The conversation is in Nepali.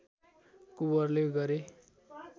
कुँवरले गरे